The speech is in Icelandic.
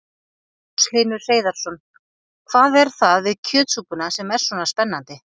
Magnús Hlynur Hreiðarsson: Hvað er það við kjötsúpuna sem er svona spennandi?